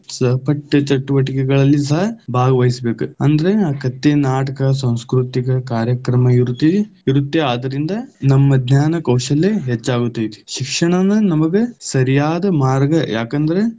ಸಹಪಠ್ಯ ಚಟುವಟಿಕೆಗಳಲ್ಲಿ ಸಹ ಭಾಗವಹಿಸಬೇಕ ಅಂದ್ರೆ ಕಥೆ, ನಾಟಕ, ಸಂಸ್ಕೃತಿಕ ಕಾರ್ಯಕ್ರಮ ಇರುತ್ತೆ, ಇರುತ್ತೆ ಆದ್ದರಿಂದ ನಮ್ಮ ಜ್ಞಾನ, ಕೌಶಲ್ಯ ಹೆಚ್ಚಾಗುತೈತಿ, ಶಿಕ್ಷಣನ ನಮಗ ಸರಿಯಾದ ಮಾರ್ಗ, ಯಾಕಂದ್ರ.